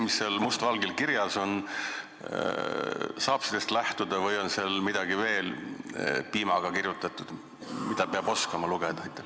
Kas saab lähtuda sellest, mis seal must valgel kirjas on, või on seal midagi veel piimaga kirjutatud, mida peab lugeda oskama?